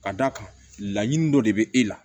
Ka d'a kan laɲini dɔ de bɛ e la